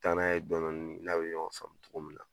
U bi taa n'a ye dɔɔnin dɔɔnin n n'a bi ɲɔgɔn sɔrɔ togo min na